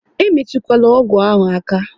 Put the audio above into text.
E metukwala ọgwụ ahụ aka!